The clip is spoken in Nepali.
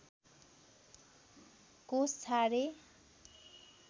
कोष छाडे